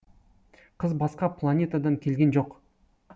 қыз басқа планетадан келген жоқ